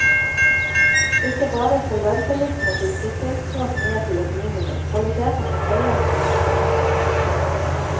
Ikke bare skal ventelistene til sykehjemsplass ned til et minimum, kvaliteten på pleien skal også opp.